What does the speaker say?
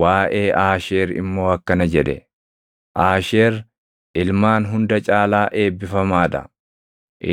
Waaʼee Aasheer immoo akkana jedhe: “Aasheer ilmaan hunda caalaa eebbifamaa dha;